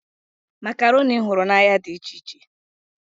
Makaroni m hụrụ n'ahịa dị iche iche.